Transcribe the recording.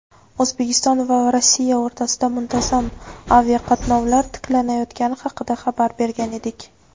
O‘zbekiston va Rossiya o‘rtasida muntazam aviaqatnovlar tiklanayotgani haqida xabar bergan edik.